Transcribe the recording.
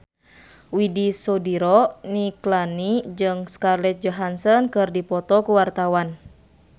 Widy Soediro Nichlany jeung Scarlett Johansson keur dipoto ku wartawan